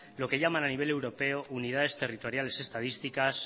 lo que llaman nivel europeo unidades territoriales estadísticas